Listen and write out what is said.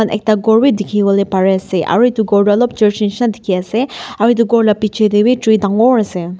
ekta khor bi dikhiwolae parease aru edu khor toh olop church shina dikhiase aru edu khor la bichae tae bi tree dangor ase.